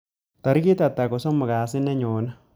Tarik ata kosomok Kasi nenyone